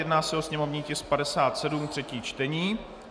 Jedná se o sněmovní tisk 57, třetí čtení.